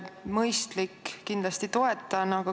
Mõistlik, kindlasti toetan.